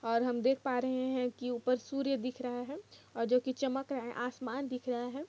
और हम देख पा रहे है की ऊपर सूर्य दिख रहा है और जो की चमक रहा है आसमान दिख रहा है।